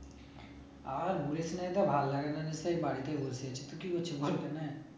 আর বলিস না এইটা ভাল লাগে না সেই বাড়িতেই বসে আছি, তুই কি করছিস